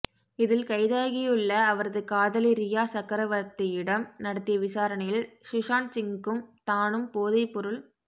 இதில் கைதாகியுள்ளஅவரது காதலி ரியா சக்கரவர்தத்தியிடம் நடத்திய விசாரணையில் சுசாந்த் சிங்கும் தானும் போதை பொருள்